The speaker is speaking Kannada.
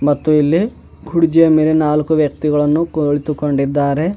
ಮತ್ತು ಇಲ್ಲಿ ಕುರ್ಜಿಯ ಮೇಲೆ ನಾಲ್ಕು ವ್ಯಕ್ತಿಗಳನ್ನು ಕುಳಿತುಕೊಂಡಿದ್ದಾರೆ.